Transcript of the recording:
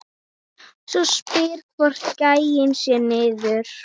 Spyr hvort gæinn sé niðri.